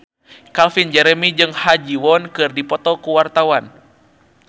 Calvin Jeremy jeung Ha Ji Won keur dipoto ku wartawan